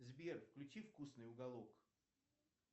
сбер включи вкусный уголок